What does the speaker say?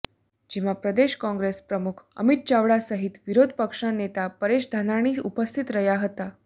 જેમાં પ્રદેશ કોંગ્રેસ પ્રમુખ અમિત ચાવડા સહિત વિરોધ પક્ષના નેતા પરેશ ધાનાણી ઉપસ્થિત રહ્યા હતા